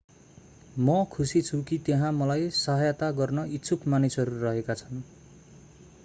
म खुशी छु कि त्यहाँ मलाई सहायता गर्न इच्छुक मानिसहरू रहेका छन्